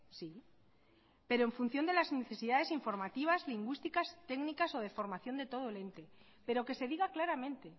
sí pero en función de las necesidades informativas lingüísticas técnicas o de formación de todo el ente pero que se diga claramente